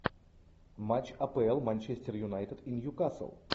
матч апл манчестер юнайтед и ньюкасл